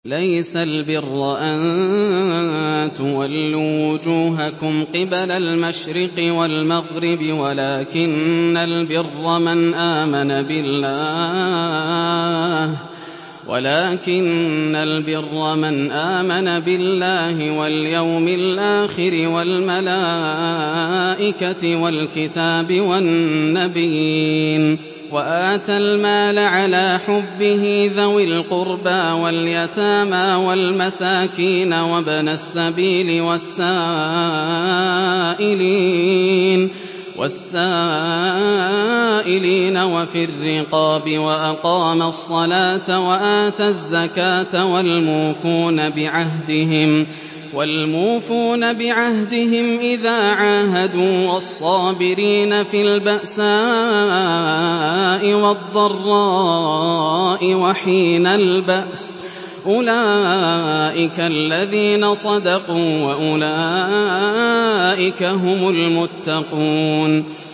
۞ لَّيْسَ الْبِرَّ أَن تُوَلُّوا وُجُوهَكُمْ قِبَلَ الْمَشْرِقِ وَالْمَغْرِبِ وَلَٰكِنَّ الْبِرَّ مَنْ آمَنَ بِاللَّهِ وَالْيَوْمِ الْآخِرِ وَالْمَلَائِكَةِ وَالْكِتَابِ وَالنَّبِيِّينَ وَآتَى الْمَالَ عَلَىٰ حُبِّهِ ذَوِي الْقُرْبَىٰ وَالْيَتَامَىٰ وَالْمَسَاكِينَ وَابْنَ السَّبِيلِ وَالسَّائِلِينَ وَفِي الرِّقَابِ وَأَقَامَ الصَّلَاةَ وَآتَى الزَّكَاةَ وَالْمُوفُونَ بِعَهْدِهِمْ إِذَا عَاهَدُوا ۖ وَالصَّابِرِينَ فِي الْبَأْسَاءِ وَالضَّرَّاءِ وَحِينَ الْبَأْسِ ۗ أُولَٰئِكَ الَّذِينَ صَدَقُوا ۖ وَأُولَٰئِكَ هُمُ الْمُتَّقُونَ